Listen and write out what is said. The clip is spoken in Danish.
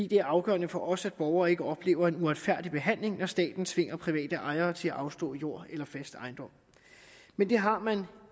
det er afgørende for os at borgere ikke oplever en uretfærdig behandling når staten tvinger private ejere til at afstå jord eller fast ejendom men det har man